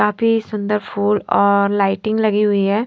काफी सुंदर फूल और लाइटिंग लगी हुई है।